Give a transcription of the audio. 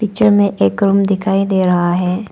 Picture में एक room दिखाई दे रहा है।